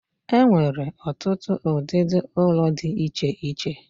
E nwere otutu udidi ulo di iche iche.